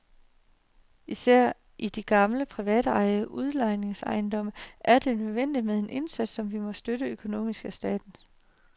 Især i de gamle privatejede udlejningsejendomme er det nødvendigt med en indsats, som må støttes økonomisk af staten.